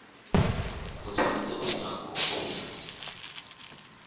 o tshwanetseng go dira kopo